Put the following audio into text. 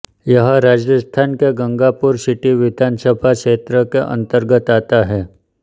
यह राजस्थान के गंगापुर सिटी विधानसभा क्षेत्र के अंतर्गत आता है